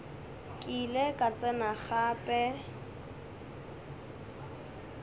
ke ile ka tsena gape